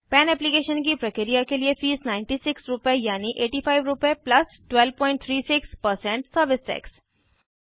पन एप्लीकेशन की प्रक्रिया के लिए फीस 9600 रुपए यानि 8500 रुपए 1236 सर्विस टैक्स